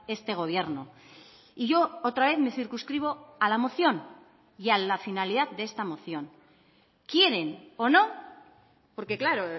este gobierno y yo otra vez me circunscribo a la moción y a la finalidad de esta moción quieren o no porque claro